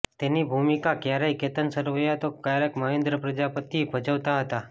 તેની ભૂમિકા ક્યારેક કેતન સરવૈયા તો ક્યારેક મહેન્દ્ર પ્રજાપતિ ભજવતાં હતાં